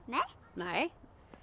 nei